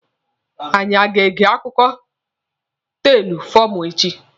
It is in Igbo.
Anyi a ga-ege akụkọ teelụ fọmụla echi?